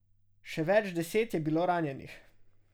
Še več deset je bilo ranjenih.